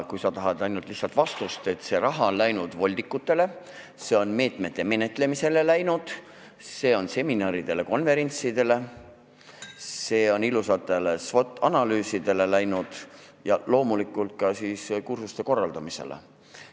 Kui sa tahad lihtsat vastust, siis ütlen, et see raha on läinud voldikutele, meetmete menetlemisele, seminaride ja konverentside korraldamisele, ilusatele SWOT-analüüsidele ja loomulikult ka kursuste korraldamisele.